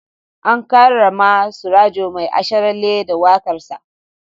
An karrama Surajo Mai Asharalle da waƙarsa.